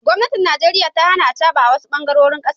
gomnatin Najeriya ta Hana acaba awasu bangarorin kasan.